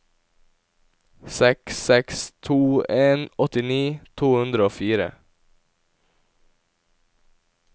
seks seks to en åttini to hundre og fire